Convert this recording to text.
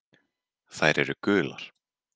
Þær eru gular.